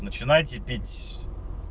начинайте пить